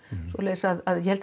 svoleiðis að ég held